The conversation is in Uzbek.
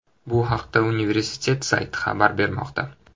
Bu haqda universitet sayti xabar bermoqda .